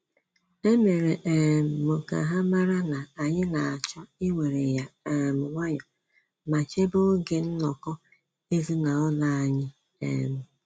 E mere um m ka ha mara na anyị na-achọ iwere ya um nwayọ ma chebe oge nnọkọ ezinaụlọ anyi um